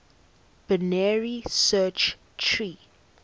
binary search tree